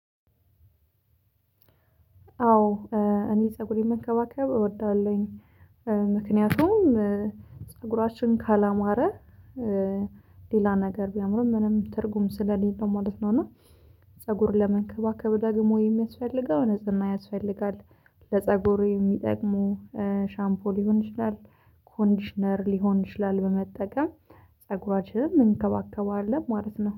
አዎ እኔ ፀጉሬን መንከባከብ እወዳለሁኝ። ምክንያቱም ፀጉራችን ካላማረ ሌላ ነገር ቢያምርም ምንም ትርጉም ስለሌለው ማለት ነው። እና ፀጉር ለመንከባከብ ደግሞ የሚያስፈልገው ንጽህና ያስፈልጋል። ለፀጉሩ የሚጠቅሙ ሻምፖ ሊሆን ይችላል። ኮንዲሽነር ሊሆን ይችላል። በመጠቀም ፀጉራችንን እንከባከባለን ማለት ነው